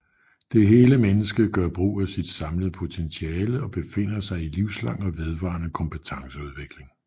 Det hele menneske gør brug af sit samlede potentiale og befinder sig i livslang og vedvarende kompetenceudvikling